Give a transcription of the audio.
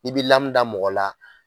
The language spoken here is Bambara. I bi lamu da mɔgɔ la